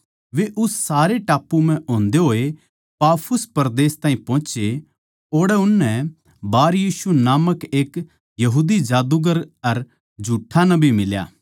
वे उस सारे टापू म्ह होंदे होए पाफुस परदेस ताहीं पोहोचे ओड़ै उननै बारयीशु नामक एक यहूदी जादूगर अर झूठा नबी फेट्या